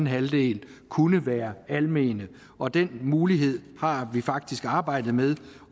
halvdel kunne være almene og den mulighed har vi faktisk arbejdet med